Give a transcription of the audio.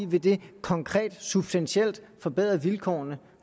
vil det konkret og substantielt forbedre vilkårene